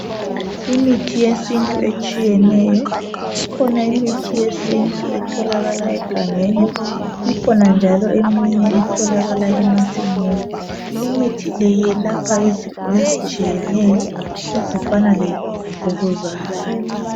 Imithi yesintu etshiyeneyo, ikhona imithi yesintu etholakala egangeni ikhona njalo eminye etholakala emasimini. Imithi le iyelapha izifo ezitshiyeneyo ezifana lemvukuzane.